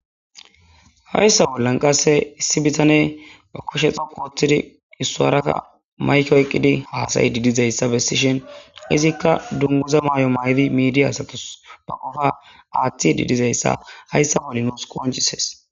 Haysa bolan qase issi bitaney ba kusheza wotidi isuwara mayke oyqidi hasa'idi dizaysa besishen izika dunguza mayo mayidi midiya asatus ba qofa athidi dizaysa haysa bolan nusi qonc'ises.